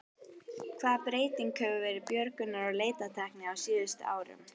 Hvaða breyting hefur verið björgunar- og leitartækni á síðustu árum?